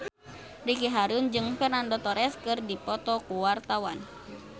Ricky Harun jeung Fernando Torres keur dipoto ku wartawan